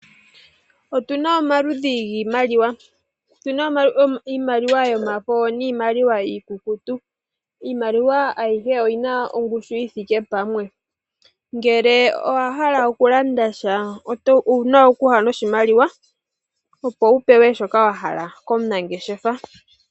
Otuna omaludhi giimaliwa, otuna iimaliwa yomafo niimaliwa iikukutu, iimaliwa ayihe oyina ongushu yithike pamwe, ngele owahala okulanda sha ouna okuya noshimaliwa opo wupewe shoka wahala komunangeshefa.